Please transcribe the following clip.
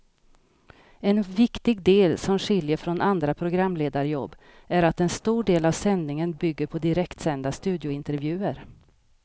En viktig del som skiljer från andra programledarjobb är att en stor del av sändningen bygger på direktsända studiointervjuer.